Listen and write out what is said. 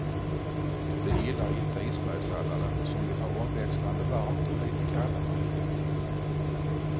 Det gillar inte isbergssalladen, som vill ha omväxlande varmt och lite kallare.